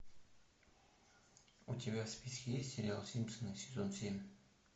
у тебя в списке есть сериал симпсоны сезон семь